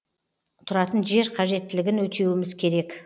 тұратын жер қажеттілігін өтеуіміз керек